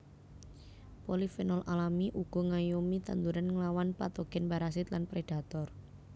Polifenol alami uga ngayomi tanduran nglawan patogen parasit lan predator